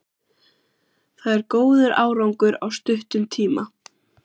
Það er góður árangur á stuttum tíma.